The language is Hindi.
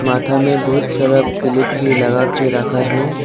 माथा में बहुत सारा क्लिप भी लगा के रखा है।